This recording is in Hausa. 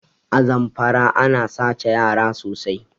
A Zamfara ana sace yara sosai